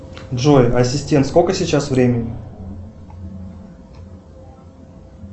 джой ассистент сколько сейчас времени